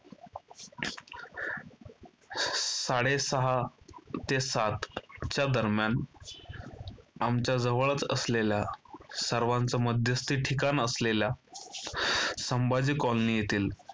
साडेसहा ते सातच्या दरम्यान आमच्या जवळच असलेला सर्वांचे मध्यस्थी ठिकाण असलेल्या संभाजी colony येथील